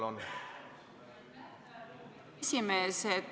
Lugupeetud esimees!